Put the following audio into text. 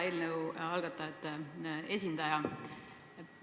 Hea eelnõu algatajate esindaja!